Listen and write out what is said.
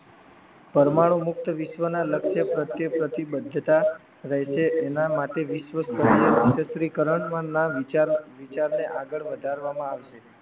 પરમાણુ મુક્ત વિશ્વના લક્ષ્ય પ્રત્યે પ્રતિભદ્રતા રહે છે એના માટે વિશ્વકેશ્રીકરણમાં ના વિચારને આગળ વધારવામાં આવશે